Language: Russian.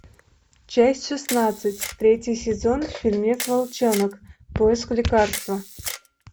часть шестнадцать третий сезон фильмец волчонок поиск лекарства